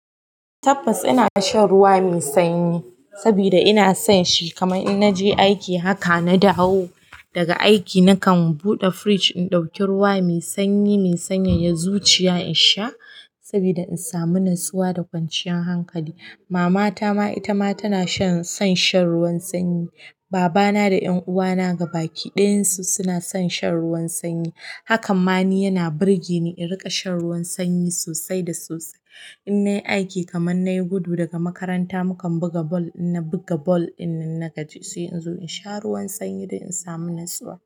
Tabbas ina shan ruwa mai sanyi saboda ina son shi. Kaman in naje aiki, haka na dawo daga aiki, nakan buɗe fridge in ɗauki ruwa mai sanyi mai sanyayye zuciya in sha saboda in samu natsuwa da kwanciyar hankali. Mama ta ma, ita ma tana son shan ruwan sanyi. Baba na da ƴan'uwa na gaba ki ɗayan su suna son shan ruwan sanyi. Haka ma ni yana burge ni in riƙa shan ruwan sanyi sosai da sosai. In nayi aiki kaman nayi gudu daga makaranta, mukan buga bal, in na buga bal, ɗinnan na gaji sai in zo in sha ruwan sanyi don in samu natsuwa.